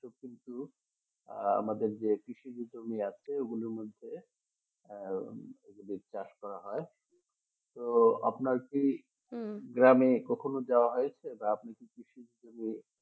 কিন্তু আহ আমাদের যে কৃষিজ জমি আছে ওগুলোর মধ্যে চাষ করা হয় তো আপনার কি গ্রামে কখনো যাওয়া হয়েছে বা আপনি কি কৃষির জমি